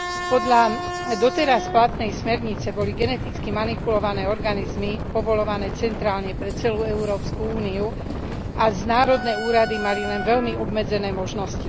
Podľa doteraz platnej smernice boli geneticky manipulované organizmy povoľované centrálne pre celú Európsku úniu a národné úrady mali len veľmi obmedzené možnosti.